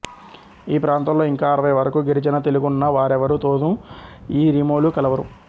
ఈ ప్రాంతాల్లో ఇంకా అరవై వరకూ గిరిజన తెగలున్నా వారెవరి తోనూ ఈ రిమోలు కలవరు